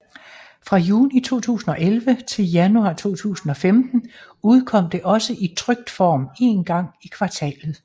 Fra juni 2011 til januar 2015 udkom det også i trykt form en gang i kvartalet